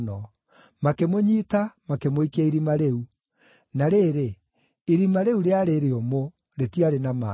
Makĩmũnyiita, makĩmũikia irima rĩu. Na rĩrĩ, irima rĩu rĩarĩ rĩũmũ; rĩtiarĩ na maaĩ.